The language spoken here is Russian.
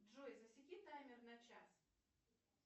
джой засеки таймер на час